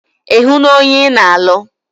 Ì hụ na ònye ị na alụ?